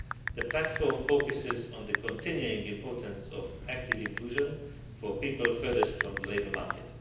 The Platform focuses on the continuing importance of active inclusion for people furthest from the labour market.